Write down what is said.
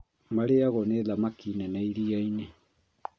Marĩagwo nĩ thamaki nene iria-inĩ